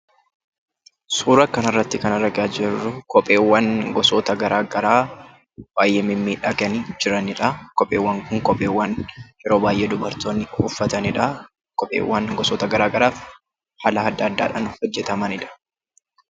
Suura kana irraa kan argaa jirru kopheewwan gosa garagaraa baay'ee mimmiidhaganii jiranidha. Kopheewwan Kun kophee yeroo baay'ee dubartoonni uffataniidha. Kopheewwan Kunis haala adda addaatiin kan hojjetamanidha.